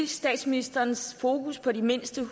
statsministerens fokus på de mindste og